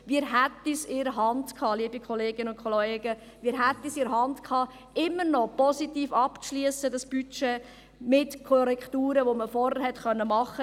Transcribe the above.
Wir hätten es in der Hand gehabt, liebe Kolleginnen und Kollegen, dieses Budget immer noch positiv abzuschliessen – mit Korrekturen, die man vorhin hätte vornehmen können.